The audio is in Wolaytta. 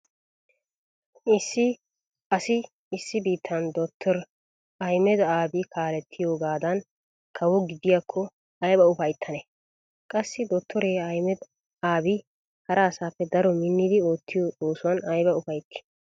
Issi asi issi biittan dottore Ahimeda Abi kaalettiyogaadan kawo gidiyakko ayba ufayttane? Qassi dottore Ahimeda Abi hara asaappe daro minnidi oottiyo oosuwan ayba ufaytti?